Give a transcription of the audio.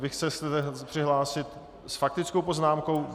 Vy se chcete přihlásit s faktickou poznámkou?